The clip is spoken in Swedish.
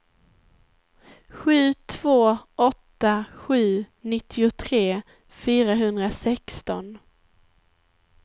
sju två åtta sju nittiotre fyrahundrasexton